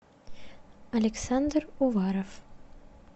александр уваров